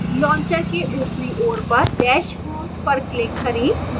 launcher के ऊपरी ओर पर dash home पर click करें